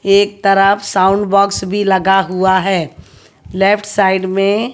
एक तरफ sound box भी लगा हुआ है लेफ्ट साइड में--